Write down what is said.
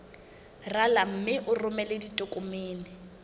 rala mme o romele ditokomene